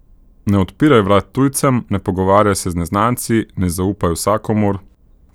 Ne odpiraj vrat tujcem, ne pogovarjaj se z neznanci, ne zaupaj vsakomur...